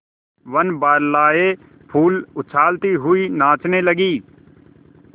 वनबालाएँ फूल उछालती हुई नाचने लगी